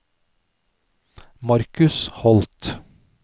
Marcus Holth